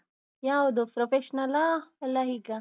ಯಾವುದು professional ನಲ್ಲಾ ಅಲ್ಲ ಹೀಗಾ?